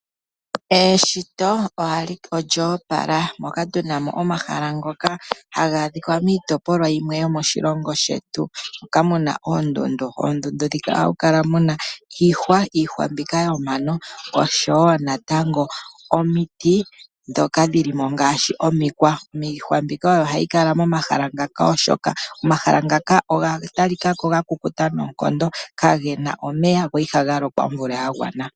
Eshito olyo opala moka tuna mo omahala ngoka haga adhika miitopolwa yimwe yomoshilongo shetu moka muna oondundu. Oondundu ndhika ohamu kala muna iihwa, iihwa mbika yomano oshowo natango omiti ndhoka dhili mo ngaashi omikwa. Omikwa mbika oyo hayi kala momahala muka oshoka omahala ngaka oga talika ko ga kukuta noonkondo kagena omeya go ihaga lokwa omvula ya gwana.